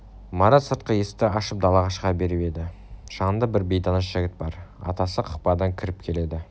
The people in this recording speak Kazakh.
марат сыртқы есікті ашып далаға шыға беріп еді жанында бір бейтаныс жас жігіт бар атасы кақпадан кіріп келеді